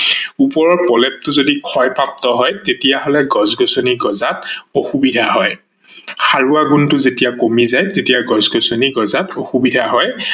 ওপৰৰ প্ৰলেপটো যদি ক্ষয়প্ৰাপ্ত হয় তেতিয়া হলে গছ-গজনি গজাত অসুবিধা হয় ।সাৰোৱা গুনটো যেতিয়া কমি যায় তেতিয়া গছ-গছনি গজাত অসুবিধা হয়